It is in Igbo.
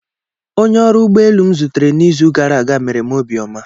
Onye ọrụ ụgbọ elu m zutere n'izu gara aga mere m obiọma.